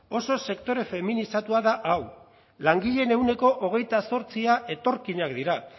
oso sektore feminizatua da hau langileen ehuneko hogeita zortzia etorkinak dira